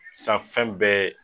Sisan fɛn bɛ ye